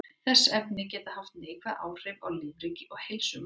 Þessi efni geta haft neikvæð áhrif á lífríki og heilsu manna.